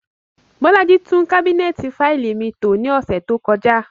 Bolaji tun kabinẹti faili mi to ni ọsẹ to kọja.